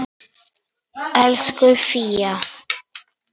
Elsku Fía.